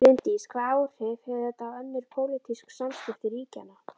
Bryndís: Hvaða áhrif hefur þetta á önnur pólitísk samskipti ríkjanna?